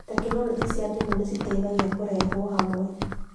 Tekinoronjĩ cia thimũ citeithagia kũrehwo hamwe kwa